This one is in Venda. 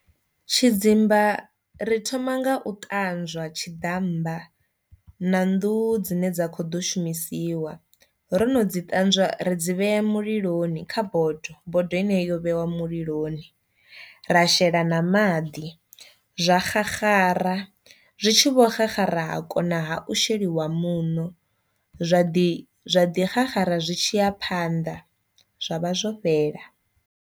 Tshidzimba ri thoma nga u ṱanzwa tshiḓammba na nḓuhu dzine dza kho ḓo shumisiwa, ro no dzi ṱanzwa ri dzi vhea muliloni kha bodo, bodo ine yo vheiwa muliloni, ra shela na maḓi zwa xaxara zwi tshi vho xaxara ha kona ha u sheliwa muṋo zwa ḓi xaxara zwi tshiya phanḓa zwa vha zwo fhela.